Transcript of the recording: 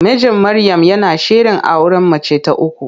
Mijin Maryam yana shirin auren mace ta uku.